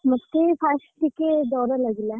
ମତେ first ଟିକେ ଡ଼ର ଲାଗିଲା।